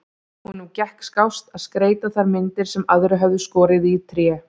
Honum gekk skást að skreyta þær myndir sem aðrir höfðu skorið í tré.